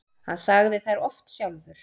Hann sagði þær oft sjálfur.